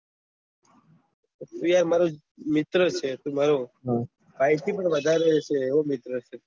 તું યાર મિત્ર છે તું મારે ઇટી માં વધારે છે એવો મિત્ર છે